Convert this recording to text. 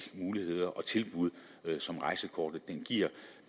muligheder og tilbud som rejsekortet giver